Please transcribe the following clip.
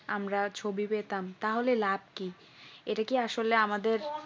আমরা ছবি পেতাম তাহলে লাভ কি এটা কি আসলে আমাদের